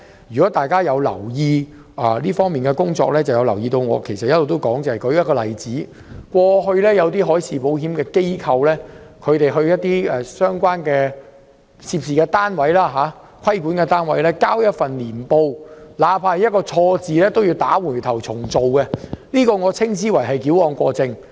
如果大家有留意這方面的事宜，便會知道我一直有提出有關問題，例如過去有些海事保險機構向相關規管單位提交年報，縱使只有一個錯字，亦要打回頭重做，我稱之為矯枉過正。